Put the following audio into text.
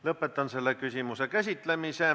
Lõpetan selle küsimuse käsitlemise.